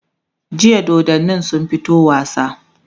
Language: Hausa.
jiya dodannin sun fito wasa